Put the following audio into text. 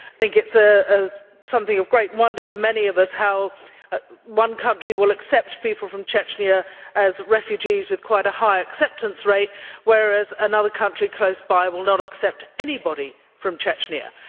I think it is something of great wonder to many of us how one country will accept people from Chechnya as refugees with quite a high acceptance rate, whereas another country close by will not accept anybody from Chechnya.